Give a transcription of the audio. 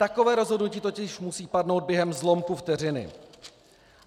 Takové rozhodnutí totiž musí padnout během zlomku vteřiny.